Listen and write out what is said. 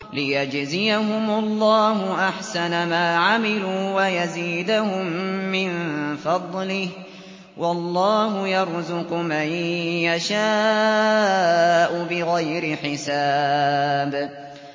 لِيَجْزِيَهُمُ اللَّهُ أَحْسَنَ مَا عَمِلُوا وَيَزِيدَهُم مِّن فَضْلِهِ ۗ وَاللَّهُ يَرْزُقُ مَن يَشَاءُ بِغَيْرِ حِسَابٍ